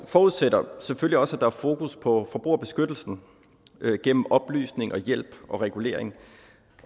forudsætter selvfølgelig også at der er fokus på forbrugerbeskyttelsen gennem oplysning og hjælp og regulering